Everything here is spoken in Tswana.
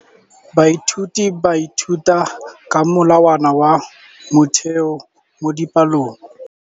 Baithuti ba ithuta ka molawana wa motheo mo dipalong.